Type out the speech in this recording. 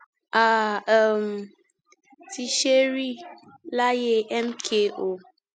a um ti ṣe é rí láyé mko